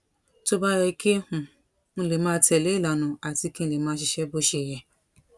tó bá yẹ kí um n lè máa tẹ̀lé ìlànà àti kí n lè máa ṣiṣẹ́ bó ṣe yẹ